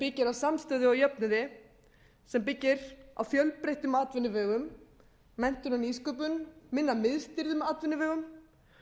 byggir á samstöðu og jöfnuði sem byggir á fjölbreyttum atvinnuvegum menntun um nýsköpun minna miðstýrðum atvinnuvegum